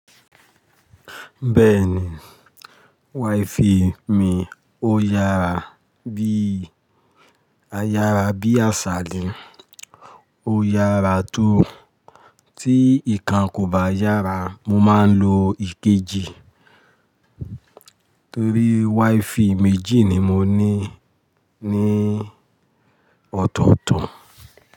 Bẹ́ẹ̀ni. Wifi mi ó yára bí, ayárabíàsà ni, ó yára tó. Tí ìkan kò bá yára, mo máa ń lo ikejì torí wifi méjì ni mo ní ní ọ̀tọ̀ọ̀tọ̀.